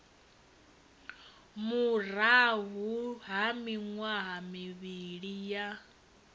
murahu ha miṅwaha mivhili ya